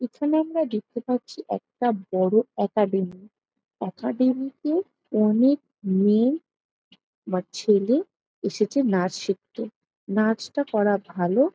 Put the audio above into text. এখানে আমরা দেখতে পাচ্ছি একটা বড়ো একাডেমী একাডেমি -তে অনেক মেয়ে বা ছেলে এসেছে নাচ শিখতে। নাচটা ভালো।